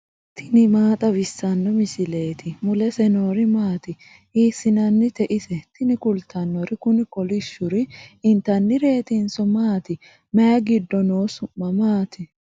tini maa xawissanno misileeti ? mulese noori maati ? hiissinannite ise ? tini kultannori kuni kolishshuri intannireetinso maati mayi giddo no su'ma maati